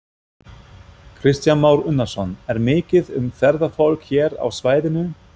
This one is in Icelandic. Kristján Már Unnarsson: Er mikið um ferðafólk hér á svæðinu?